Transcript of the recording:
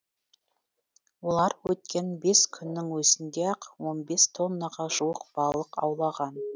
олар өткен бес күннің өзінде ақ он бес тоннаға жуық балық аулаған